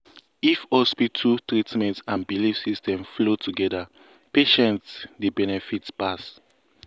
if hospital treatment and belief system flow together patients dey benefit pass.